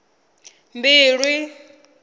mbilwi